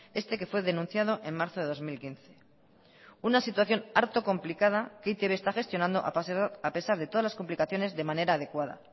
este que fue denunciado en marzo de dos mil quince una situación harto complicada que e i te be está gestionando a pesar de todas las complicaciones de manera adecuada